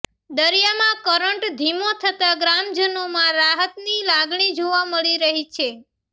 દરિયામાં કરંટ ધીમો થતા ગ્રામજનોમાં રાહતની લાગણી જોવા મળી રહી છે